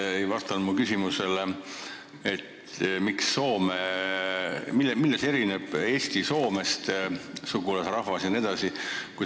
Te ei vastanud mu küsimusele, mille poolest erineb Eesti Soomest, kus elab meie sugulasrahvas.